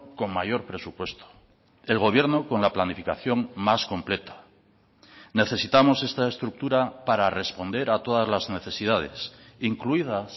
con mayor presupuesto el gobierno con la planificación más completa necesitamos esta estructura para responder a todas las necesidades incluidas